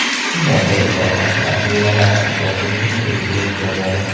Shundan beri poytaxt rasmiylari asfalt yotqizishni o‘ziga ep ko‘rmadi.